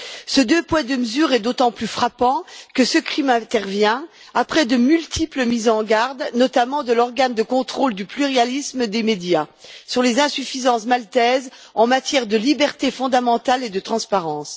Ce deux poids, deux mesures est d'autant plus frappant que ce crime intervient après de multiples mises en garde, notamment de l'organe de contrôle du pluralisme des médias, sur les insuffisances maltaises en matière de libertés fondamentales et de transparence.